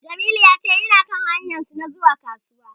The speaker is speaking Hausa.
Jamilu ya ce yana kan hanyarsa ta zuwa Kasuwa.